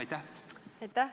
Aitäh!